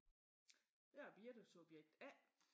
Jeg er Birthe subjekt A